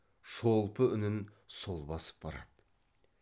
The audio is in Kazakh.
шолпы үнін сол басып барады